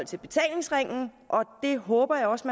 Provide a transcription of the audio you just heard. til betalingsringen og det håber jeg også